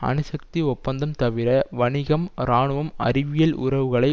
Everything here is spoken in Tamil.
அணுசக்தி ஒப்பந்தம் தவிர வணிகம் இராணுவம் அறிவியல் உறவுகளை